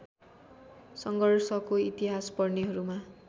सङ्घर्षको इतिहास पढ्नेहरूमा